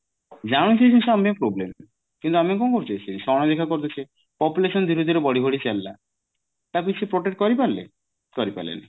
ଜାଣୁଛେ ଏଇ ଜିନିଷ ଆମ ପାଇଁ problem କିନ୍ତୁ ଆମେ କଣ କରୁଛେ ସେଇ ଜିନିଷ କୁ ଅଣଦେଖା କରି ଦଉଛେ population ଦିନକୁ ଦିନ ବଢି ବଢି ଚାଲିଲା ତାକୁ କିଛି protect କରି ପାରିଲେ କରି ପାରିଲେନି